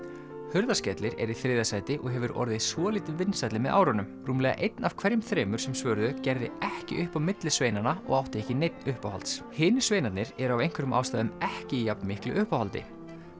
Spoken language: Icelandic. Hurðaskellir er í þriðja sæti og hefur orðið svolítið vinsælli með árunum rúmlega einn af hverjum þremur sem svöruðu gerði ekki upp á milli sveinanna og átti ekki neinn uppáhalds hinir sveinarnir eru af einhverjum ástæðum ekki í jafnmiklu uppáhaldi